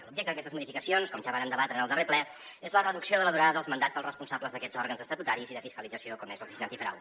l’objecte d’aquestes modificacions com ja vàrem debatre en el darrer ple és la reducció de la durada dels mandats dels responsables d’aquests òrgans estatutaris i de fiscalització com és l’oficina antifrau